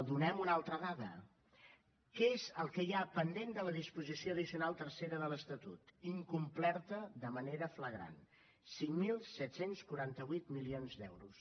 donem ne una altra dada què és el que hi ha pendent de la disposició addicional tercera de l’estatut incomplerta de manera flagrant cinc mil set cents i quaranta vuit milions d’euros